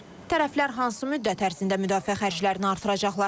Tərəflər hansı müddət ərzində müdafiə xərclərini artıracaqlar?